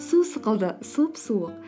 су сықылды сұп суық